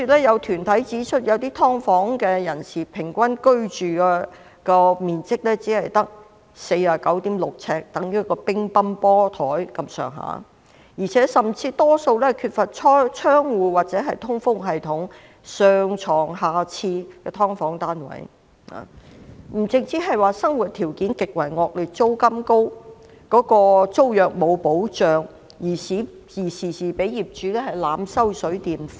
有團體指出，有些"劏房"的人均居住面積僅為 49.6 呎，與一張乒乓球桌的面積相若，而且多數"劏房"均缺乏窗戶或通風系統，"上床下廁"，不單生活條件極為惡劣，租金高昂，租約亦沒有保障，住戶經常遭業主濫收水電費。